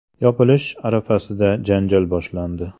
Yopilish arafasida janjal boshlandi.